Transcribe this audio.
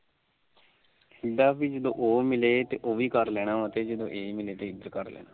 ਕਹਿੰਦਾ ਪੀ ਜਦੋ ਉਹ ਮਿਲੇ ਉਹ ਵੀ ਕਰ ਲੈਣਾ ਆ ਤੇ ਜਦੋਂ ਇਹ ਮਿਲੇ ਇਹ ਵੀ ਕਰ ਲੈਣਾ ਆ